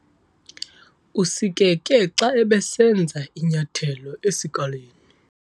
Usikeke xa ebesenza inyathelo esikalini.